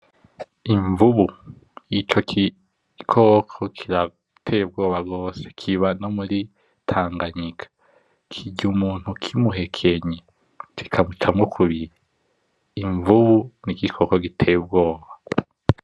Imvubu, ico gikoko kirateye ubwoba cane gose, kirya umuntu kimuhekenye umubiri